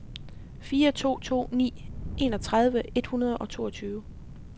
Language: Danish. fire to to ni enogtredive et hundrede og toogtyve